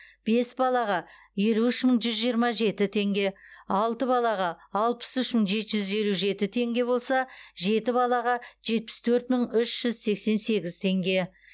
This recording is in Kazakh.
бес балаға елу үш мың бір жүз жиырма жеті теңге алты балаға алпыс үш мың жеті жүз елу жеті теңге болса жеті балаға жетпіс төрт мың үш жүз сексен сегіз теңге